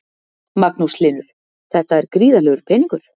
Magnús Hlynur: Þetta er gríðarlegur peningur?